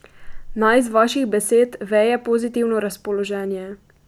Naj iz vaših besed veje pozitivno razpoloženje.